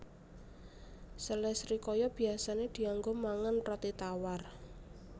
Sele srikaya biyasané dianggo mangan roti tawar